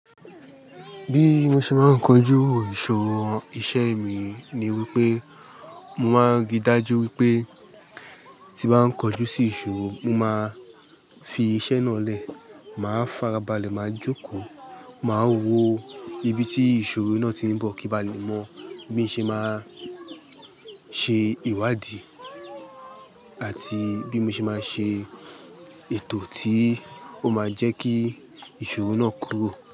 Bí mo ṣe máa ń kojú ìṣòro iṣẹ́ mi ni wí pé mo máa ń rí dájú wí pé tí bá ń kojú sí ìṣòro, mo máa fi iṣẹ́ náà lẹ̀, màá farabalẹ̀, màá jókòó, màá wo ibi tí ìṣòro náà tí ń bọ̀ kí ba lè mọ bí mo ṣe máa ṣe ìwádìí àti bí mo ṣe máa ṣe ètò tí ó máa jẹ́ kí ìṣòro náà kúrò.